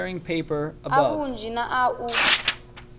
a vhunzhi na a u